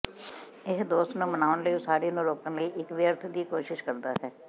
ਇਹ ਦੋਸਤ ਨੂੰ ਮਨਾਉਣ ਲਈ ਉਸਾਰੀ ਨੂੰ ਰੋਕਣ ਲਈ ਇੱਕ ਵਿਅਰਥ ਦੀ ਕੋਸ਼ਿਸ਼ ਕਰਦਾ ਹੈ